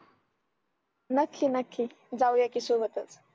नक्की नक्की जाऊया की सोबतच